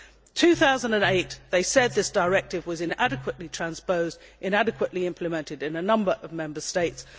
In 2008 they said this directive was inadequately transposed and inadequately implemented in a number of Member States.